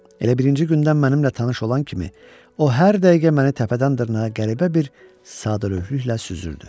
Elə birinci gündən mənimlə tanış olan kimi, o hər dəqiqə məni təpədən dırnağa qəribə bir sadəlövhlüklə süzürdü.